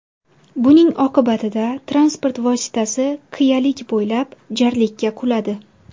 Buning oqibatida transport vositasi qiyalik bo‘ylab jarlikka quladi.